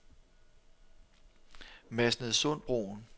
Masnedsundbroen